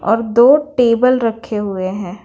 और दो टेबल रखे हुए हैं।